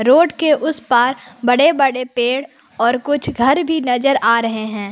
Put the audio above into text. Road के उस पार बड़े बड़े पेड़ और कुछ घर भी नजर आ रहे हैं।